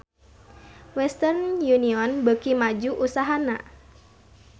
Western Union beuki maju usahana